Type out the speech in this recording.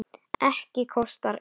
Ekkert kostar inn.